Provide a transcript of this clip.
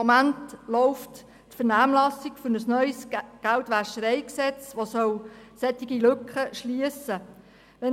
Derzeit läuft die Vernehmlassung für ein neues GwG, das solche Lücken schliessen soll.